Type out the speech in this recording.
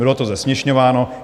Bylo to zesměšňováno.